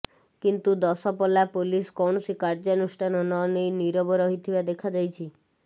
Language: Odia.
କିନ୍ତୁ ଦଶପଲ୍ଲା ପୁଲିସ କୌଣସି କାର୍ଯ୍ୟାନୁଷ୍ଠାନ ନ ନେଇ ନିରବ ରହିଥିବା ଦେଖାଯାଇଛି